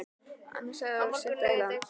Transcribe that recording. Annars hefði hann orðið að synda í land.